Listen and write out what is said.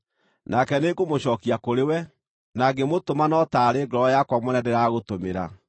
Nake nĩngũmũcookia kũrĩwe, na ngĩmũtũma no taarĩ ngoro yakwa mwene ndĩragũtũmĩra.